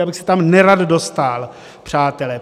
Já bych se tam nerad dostal, přátelé.